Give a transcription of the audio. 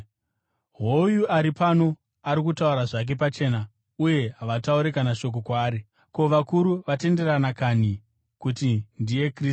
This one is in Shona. Hoyu ari pano, ari kutaura zvake pachena, uye havatauri kana shoko kwaari. Ko, vakuru vatenderana kanhi kuti ndiye Kristu?